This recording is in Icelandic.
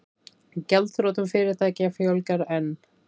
Gjaldþrotum fyrirtækja fjölgar enn